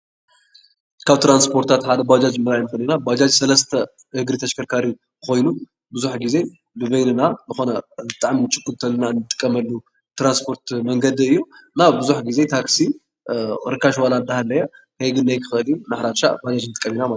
ካብ ትራንስፖረታት ሓደ ባጃጅ ምርኣይ ንክእል ኢና፡፡ ባጃጅ ሰለስተ እግሪ ተሽከርካሪ ኮይኑ ብዙሕ ግዜ ንበይነና ዝኮነ ብጣዕሚ እንትንችኩል እንጥቀመሉ ትራንስፖርት መንገዲ እዩ፡፡ እና ብዙሕ ግዜ ታክሲ ርካሽ ዋላ እንተሃለየ ዘይክግነ ይክእል እዩ እና ሓደ ሓደሻዕ ባጃጅ ክንጥቀም ንክእል ኢና፡፡